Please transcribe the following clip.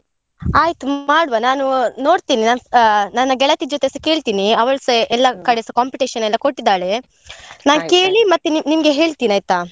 ಆಯ್ತ್ ಮಾಡುವ ನಾನು ನೋಡ್ತೀನಿ ಸಾ ನನ್ನ ಗೆಳತಿ ಜೊತೆ ಕೇಳ್ತೀನಿ ಅವ್ಳಸಾ ಎಲ್ಲ ಕಡೆಸ competition ಎಲ್ಲ ಕೊಟ್ಟಿದ್ದಾಳೆ. ಕೇಳಿ ಮತ್ತೆ ನಿಮ್ಗೆ ಹೇಳ್ತೇನೆ ಆಯ್ತಾ?